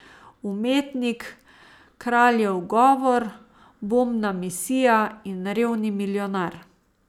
Umetnik, Kraljev govor, Bombna misija in Revni milijonar.